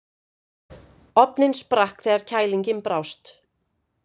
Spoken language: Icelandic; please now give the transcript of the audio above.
Ofninn sprakk þegar kælingin brást.